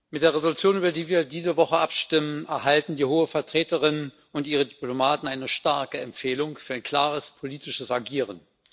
Mit der Entschließung, über die wir diese Woche abstimmen, erhalten die Hohe Vertreterin und ihre Diplomaten eine starke Empfehlung für ein klares, politisches Agieren.